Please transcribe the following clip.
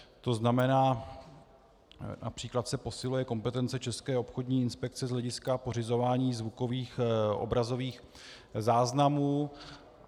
To znamená, například se posiluje kompetence České obchodní inspekce z hlediska pořizování zvukových, obrazových záznamů.